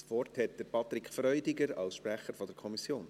Das Wort hat Patrick Freudiger als Sprecher der Kommission.